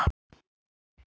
Held ég gruflað hafi nóg.